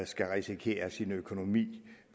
skal risikere sin økonomi